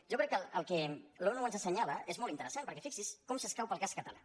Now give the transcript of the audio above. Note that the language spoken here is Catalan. jo crec que el que l’onu ens assenyala és molt interessant perquè fixi’s com s’escau per al cas català